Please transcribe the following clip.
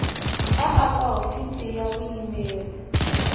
a eka hofisi ya vuyimeri